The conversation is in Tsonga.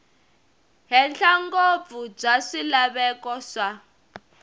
henhla ngopfu bya swilaveko swa